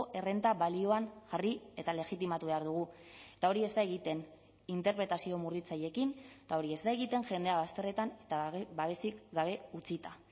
errenta balioan jarri eta legitimatu behar dugu eta hori ez da egiten interpretazio murritzaileekin eta hori ez da egiten jendea bazterretan eta babesik gabe utzita